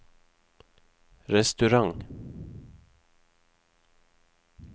restaurant